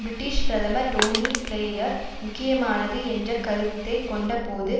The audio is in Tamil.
பிரிட்டிஷ் பிரதமர் டோனி பிளேயர் முக்கியமானது என்ற கருத்தை கொண்ட போது